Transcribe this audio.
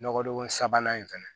Nɔgɔdon sabanan in fɛnɛ